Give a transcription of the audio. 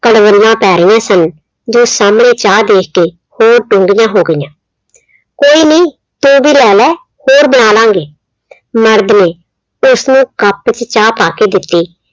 ਘਰੋਲੀਆਂ ਪੈ ਰਹੀਆਂ ਸਨ। ਜੋ ਸਾਹਮਣੇ ਚਾਹ ਦੇਖ ਕੇ ਹੋਰ ਹੋ ਗਈਆਂ। ਕੋਈ ਨੀ ਤੂੰ ਵੀ ਲੈ ਲਾ ਹੋਰ ਬਣਾ ਲਾਂਗੇ, ਮਰਦ ਨੇ ਉਸਨੂੰ cup ਚ ਚਾਹ ਪਾ ਕੇ ਦਿੱਤੀ,